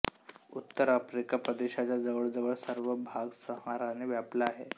उत्तर आफ्रिका प्रदेशाचा जवळजवळ सर्व भाग सहाराने व्यापला आहे